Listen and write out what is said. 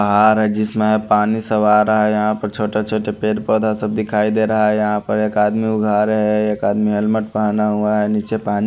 आ रहा है जिसमें पानी सब आ रहा है यहां पर छोटे छोटे पेड़ पौधा सब दिखाई दे रहा है यहां पर एक आदमी वो घर है एक आदमी हेलमेट पहना हुआ है नीचे पानी --